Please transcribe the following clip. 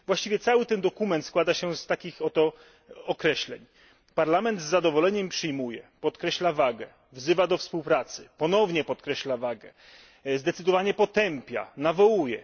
Właściwie cały ten dokument składa się z takich oto określeń Parlament z zadowoleniem przyjmuje, podkreśla wagę, wzywa do współpracy, ponownie podkreśla wagę, zdecydowanie potępia, nawołuje.